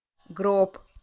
гроб